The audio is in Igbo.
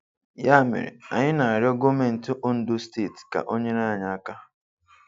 Ya mere, anyị na-arịọ gọọmentị Ondo steeti ka o nyere anyị aka.